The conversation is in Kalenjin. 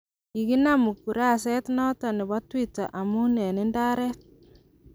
kiginan ukuraset noton nebo Tweeter amu en indaret.